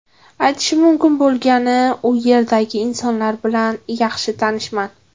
Aytishim mumkin bo‘lgani, u yerdagi insonlar bilan yaxshi tanishman.